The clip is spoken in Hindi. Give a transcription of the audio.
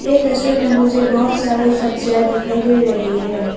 ये तस्वीर में मुझे बहुत सारे सब्जियां दिखाई दे रही है।